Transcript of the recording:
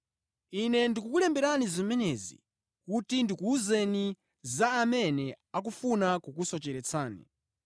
Ine ndikukulemberani zimenezi kuti ndikuwuzeni za amene akufuna kukusocheretsani.